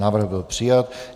Návrh byl přijat.